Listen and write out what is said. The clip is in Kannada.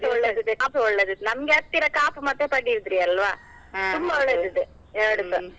ಒಳ್ಳೆದಿದೆ ಕಾಪು ಒಳ್ಳೆದಿದೆ ನಮ್ಗೆ ಹತ್ತಿರ ಕಾಪು ಮತ್ತೆ ಪಡುಬಿದ್ರಿ ಅಲ್ವಾ, ಒಳ್ಳೆದಿದೆ .